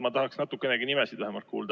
Ma tahaksin natukenegi nimesid kuulda.